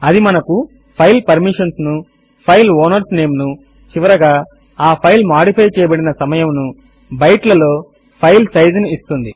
అది మనకు file permissions ను ఫైల్ ఔనర్స్ నేమ్ ను చివరగా ఆ ఫైల్ ఫైల్ మాడిఫై చేయబడిన సమయమును బైట్ లలో ఫైల్ సైజ్ ఫైల్ సైజ్ ను ఇస్తుంది